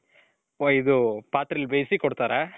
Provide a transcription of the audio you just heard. ಹೊಯ್ದು ಪಾತ್ರೆಲಿ ಬೇಯಿಸಿ ಕೊಡ್ತಾರೆ.